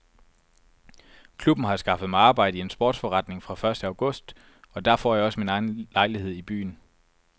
Klubben har skaffet mig arbejde i en sportsforretning fra første august og der får jeg også min egen lejlighed i byen.